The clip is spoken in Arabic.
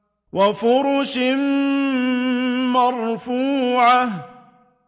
وَفُرُشٍ مَّرْفُوعَةٍ